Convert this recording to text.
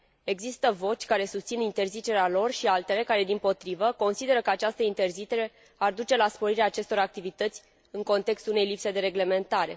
Există voci care susțin interzicerea lor și voci care, dimpotrivă, consideră că această interzicere ar duce la sporirea acestor activități în contextul unei lipse de reglementare.